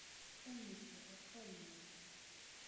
умники открой мне